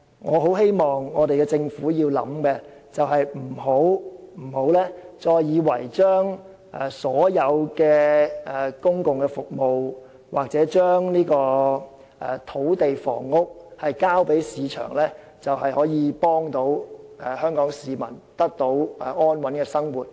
我希望政府深思的第二點是，千萬不要以為把所有公共服務或土地房屋事宜交給市場處理，便可協助香港市民得到安穩的生活。